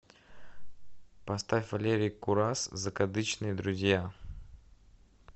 поставь валерий курас закадычные друзья